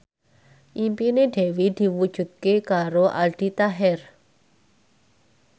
impine Dewi diwujudke karo Aldi Taher